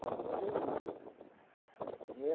Estava lá no Jeremias. eh